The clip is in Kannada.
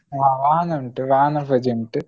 ಹ ವಾಹನ ಉಂಟು ವಾಹನ ಪೂಜೆ ಉಂಟು.